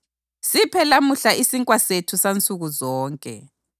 Siphe lamuhla isinkwa sethu sansukuzonke.